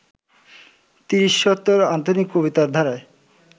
তিরিশোত্তর আধুনিক কবিতার ধারায়